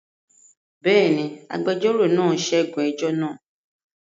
Bẹ́ẹ̀ ni, agbẹjọ́rò náà ṣẹ́gun ẹjọ́ náà.